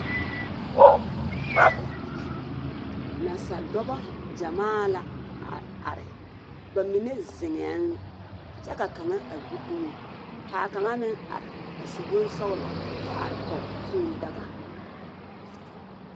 Nansa-dͻbͻ gyamaa la a are, ba mine zeŋԑԑ kyԑ ka a kaŋa a gbi dumo kaa kaŋa meŋ are a su bonsͻgelͻ kyԑ are kͻge kũũ daga.